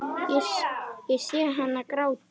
Ég sé hana gráta.